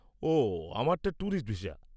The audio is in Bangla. -ওহ, আমারটা ট্যুরিস্ট ভিসা।